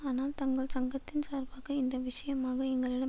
ஆனால் தங்கள் சங்கத்தின் சார்பாக இந்த விஷயமாக எங்களிடம்